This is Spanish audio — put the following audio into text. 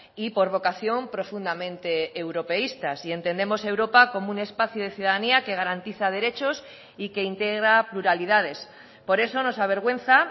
y por vocación profundamente europeístas y entendemos europa como un espacio de ciudadanía que garantiza derechos y que integra pluralidades por eso nos avergüenza